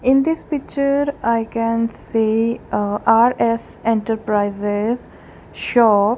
in this picture i can see a R_S enterprises shop.